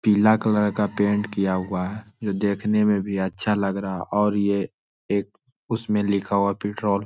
पीला कलर का पेंट किया हुआ है जो देखने में भी अच्छा लग रहा हैं और यह एक उसमें लिखा हुआ पेट्रोल --